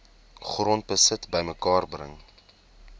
grondbesit bymekaar bring